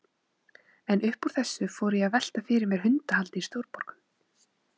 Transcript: En upp úr þessu fór ég að velta fyrir mér hundahaldi í stórborgum.